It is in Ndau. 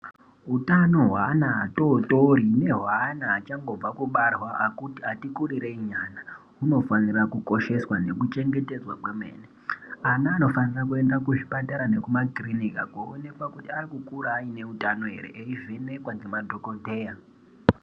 Hutano hweana atotori nehweana achangobve kubarwa atikurirei nyana hunofanirwa kukosheswa nekuchengetedzwa kwemene, ana anofanira kuenda kuzvipatara nekumakirinika koonekwa kutibaeikukura aine utano ere veivhenekwa ngemadhokodheya.